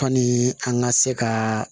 Kanni an ka se ka